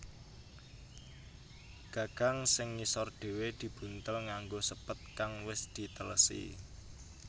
Gagang sing ngisor dhewe dibuntel nganggo sépet kang wis dhitelesi